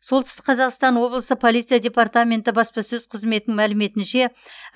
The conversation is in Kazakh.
солтүстік қазақстан облысы полиция департаменті баспасөз қызметінің мәліметінше